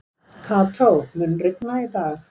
Kató, mun rigna í dag?